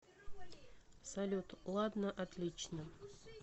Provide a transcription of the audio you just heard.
салют ладно отлично